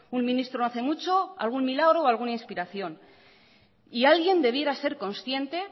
un ministro no hace mucho algún milagro o alguna inspiración y